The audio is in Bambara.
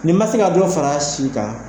Nin ma se ka dɔ far'a si kan